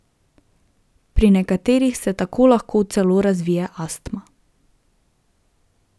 Pri nekaterih se tako lahko celo razvije astma.